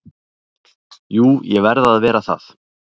Jú ég verð að vera það